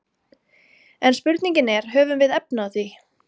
En spurningin er höfum við efni á því?